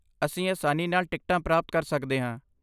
ਅਸੀਂ ਆਸਾਨੀ ਨਾਲ ਟਿਕਟਾਂ ਪ੍ਰਾਪਤ ਕਰ ਸਕਦੇ ਹਾਂ।